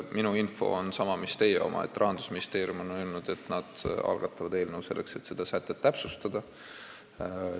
Minu info on sama mis teie oma: Rahandusministeerium on öelnud, et nad algatavad eelnõu, selleks et seda sätet täpsustada.